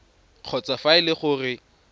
kgotsa fa e le gore